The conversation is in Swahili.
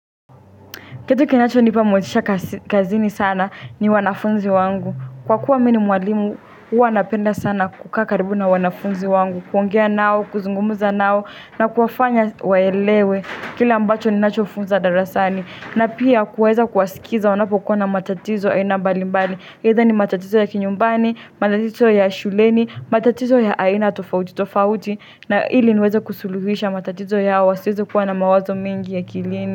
Kitu kinachonipa motisha kazini sana ni wanafunzi wangu. Kwa kuwa mi ni mwalimu, huwa napenda sana kukaa karibu na wanafunzi wangu. Kuongea nao, kuzungumuza nao, na kuwafanya waelewe. Kile ambacho ninachofunza darasani. Na pia kuweza kuwasikiza wanapokuwa na matatizo aina mbali mbali. Either ni matatizo ya kinyumbani, matatizo ya shuleni, matatizo ya aina tofauti tofauti. Na ili niweza kusuluhisha matatizo yao siezi kuwa na mawazo mingi akilini.